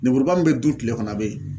Lenmuruba min bɛ dun tile kɔnɔ a bɛ yen